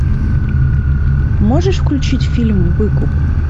можешь включить фильм выкуп